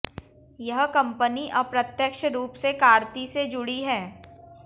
यह कंपनी अप्रत्यक्ष रूप से कार्ती से जुड़ी है